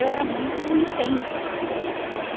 Eu era muito intensa, entendeu?